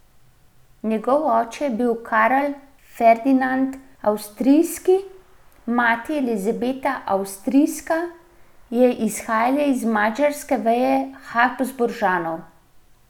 Njegov oče je bil Karl Ferdinand Avstrijski, mati Elizabeta Avstrijska je izhajala iz madžarske veje Habsburžanov.